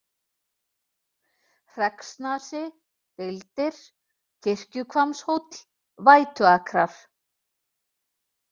Hreggsnasi, Deildir, Kirkjuhvammshóll, Vætuakrar